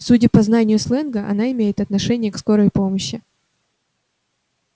судя по знанию сленга она имеет отношение к скорой помощи